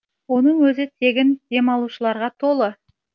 оның өзі тегін демалушыларға толы